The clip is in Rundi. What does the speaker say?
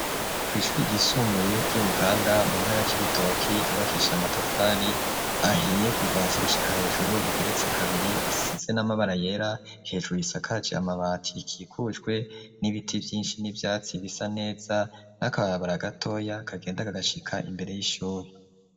Kw’ishuri ryisumbuye ry'i buganda mu ntara c'ibitoki ryubakisha amatafari ahiye kuvasi gushika hejuru rigeretse kabiri risize n'amabara yera, hejuru risakaje amabati ikikujwe n'ibiti vyinshi n'ivyatsi bisa neza n'akababara gatoya kagenda kagashika imbere y'ishuri.